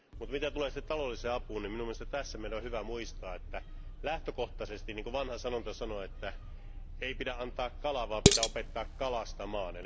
Mutta mitä tulee sitten taloudelliseen apuun, niin minun mielestäni tässä meidän on hyvä muistaa, että lähtökohtaisesti, niin kuin vanha sanonta sanoo, että ei pidä antaa kalaa, vaan pitää opettaa kalastamaan.